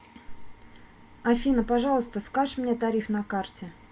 афина пожалуйста скаж мне тариф на карте